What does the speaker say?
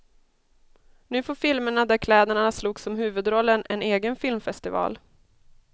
Nu får filmerna där kläderna slogs om huvudrollen en egen filmfestival.